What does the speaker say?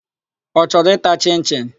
Ọ chọrọ ịta chịn-chịn?